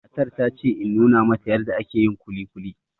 Matar ta ce in nuna mata yarda ake yin kuli kuli